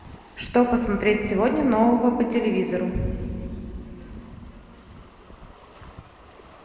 что посмотреть сегодня нового по телевизору